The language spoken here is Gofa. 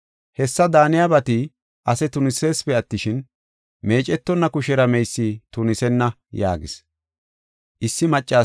Hessa daaniyabati ase tuniseesipe attishin, meecetonna kushera meysi tunisenna” yaagis.